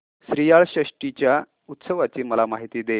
श्रीयाळ षष्टी च्या उत्सवाची मला माहिती दे